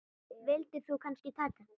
Vildir þú kannski taka hann?